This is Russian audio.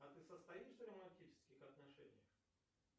а ты состоишь в романтических отношениях